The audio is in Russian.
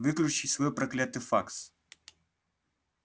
выключи свой проклятый факс